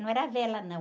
Não era vela, não.